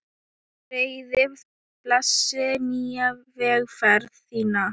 Greiði, blessi nýja vegferð þína.